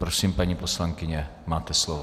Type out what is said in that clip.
Prosím, paní poslankyně, máte slovo.